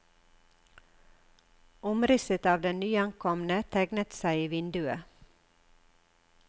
Omrisset av den nyankomne tegnet seg i vinduet.